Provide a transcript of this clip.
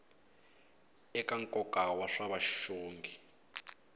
eka nkoka wa swa vuxongi